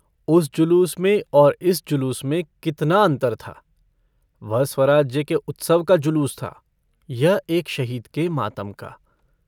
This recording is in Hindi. उस जुलूस में और इस जुलूस में कितना अन्तर था वह स्वराज्य के उत्सव का जुलूस था यह एक शहीद के मातम का।